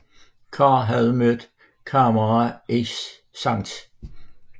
Carr havde mødt Kammerer i St